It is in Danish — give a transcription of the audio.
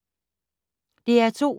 DR2